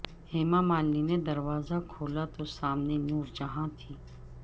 ہیما مالنی نے دروازہ کھولا تو سامنے نورجہاں تھیں